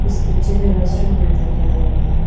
इस पिक्चर में restaurant room दिखाई दे रहा है।